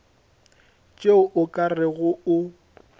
tšeo o ka rego o